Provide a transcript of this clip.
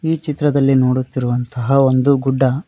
ಈ ಚಿತ್ರದಲ್ಲಿ ನೋಡುತ್ತಿರುವಂತಹ ಒಂದು ಗುಡ್ಡ.